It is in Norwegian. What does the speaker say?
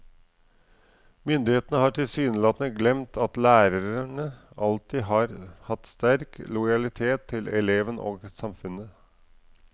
Myndighetene har tilsynelatende glemt at lærerne alltid har hatt sterk lojalitet til eleven og samfunnet.